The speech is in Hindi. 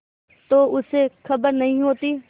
तो उसे खबर नहीं होती